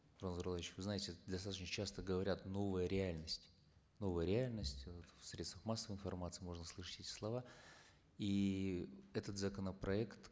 нурлан зайроллаевич вы знаете достаточно часто говорят новая реальность новая реальность э в средствах массовой информации можно слышать эти слова и этот законопроект